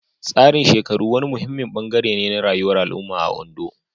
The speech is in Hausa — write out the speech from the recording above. Tsarin shekaru wani muhimmin bangare ne na rayuwar al'umma a Ondo.